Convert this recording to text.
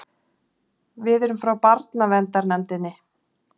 Við erum frá barnaverndarnefndinni.